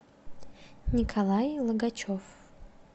николай логачев